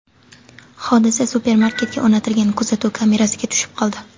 Hodisa supermarketga o‘rnatilgan kuzatuv kamerasiga tushib qoldi.